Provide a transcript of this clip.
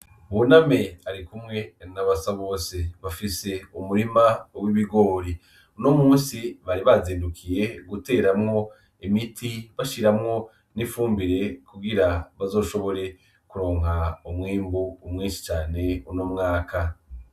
Buname arikumwe n'abasabose bafise umurima w'ibigore, unomusi bari bazindukiye guteramwo imiti bashiramwo n'ifumbire kugira bazoshobore kuronka umwimbu mwishi cane uno mwaka.